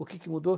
O que que mudou?